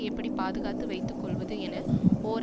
எப்படி பாதுகாத்து வைத்து கொள்வது என ஓர்